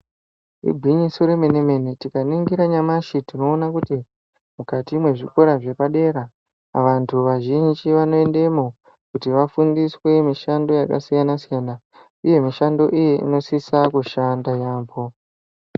Igwinyiso remene-mene tikaningira nyamashi tinoona kuti mukati mwezvikora zvepadera vantu vazhinji vanoendemwo kuti vafundiswe mishando yakasiyana-siyana uye mishando iyo inosisa kushanda yaambo.